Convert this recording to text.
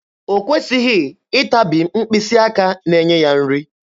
O kwesịghị ịtabi mkpịsị aka na-enye ya nri.